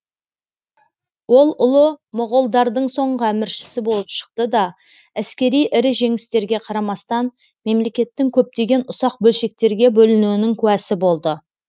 ол ұлы моғолдардың соңғы әміршісі болып шықты да әскери ірі жеңістерге қарамастан мемлекеттің көптеген ұсақ бөлшектерге бөлінуінің куәсы болды